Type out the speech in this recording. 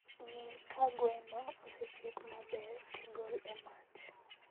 Ng'ii ka gweno osechiek maber tigol e mach